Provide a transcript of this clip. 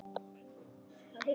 árdags í ljóma